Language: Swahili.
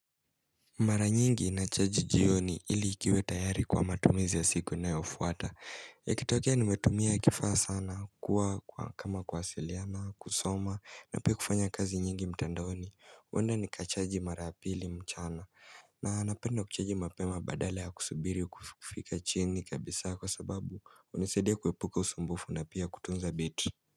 Mara nyingi nachaji jioni ili kiwe tayari kwa matumizi ya siku inayofuata Yakitokea nimetumia kifaa sana kwa kama kuwasiliana, kusoma, na pia kufanya kazi nyingi mtandoni huenda nikachaji mara ya pili mchana na napenda kuchaji mapema badale ya kusubiri kufika chini kabisa kwa sababu hunisaidia kuepuka usumbufu na pia kutunza betri.